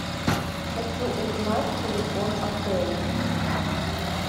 хочу узнать телефон отеля